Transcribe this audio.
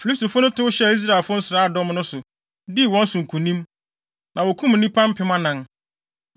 Filistifo no tow hyɛɛ Israelfo nsraadɔm no so, dii wɔn so nkonim, na wokum nnipa mpem anan.